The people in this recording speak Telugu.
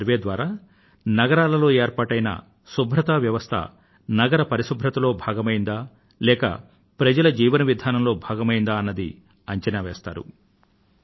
ఈ సర్వేక్షణ ద్వారా నగరాలలో ఏర్పాటైన శుభ్రత వ్యవస్థ నగర పరిశుభ్రతలో భాగమైందా లేక ప్రజల జీవన విధానంలో భాగమైందా అన్నది అంచనా వేస్తారు